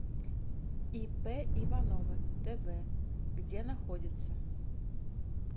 ип иванова тв где находится